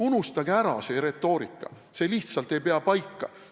Unustage ära see retoorika, see lihtsalt ei pea paika.